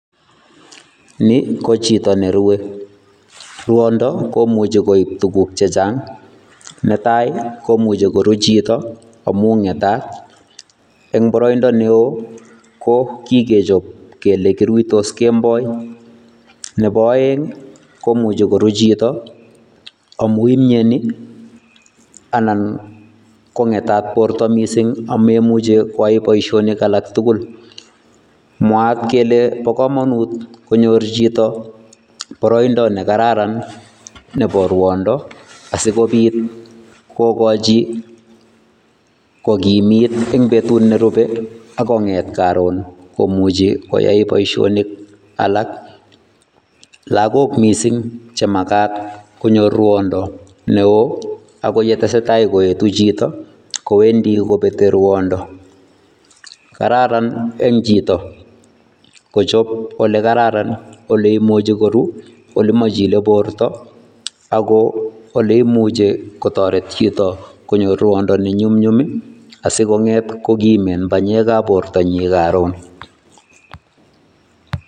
Ni ko chito ne rue, ruondo komuchi koib tukuk che chang, netai komuchi koru chito amu ngetat, eng boroindo ne oo ko kikechop kele kiruitos kemboi, nebo aeng ii komuchi koru chito amu imieni anan ko ngetat borta mising ame muchi kwai boisionik alak tugul. Mwaat kele bo kamanut konyor chito boroindo ne kararan nebo ruondo, asikobit kokochi kokimit eng betut ne rubei ak konget karon komuchi koyai boisionik alak, lagok mising che makat konyor ruondo ne oo, ako ye tesetai koetu chito kowendi kobetei ruondo. Kararan eng chito kochop ole kararan ole imuchi koru, ole machile borta ako ole imuche kotoret chito konyor ruondo ne nyumnyum ii, asi konget kokimen banyekab bortanyi karon.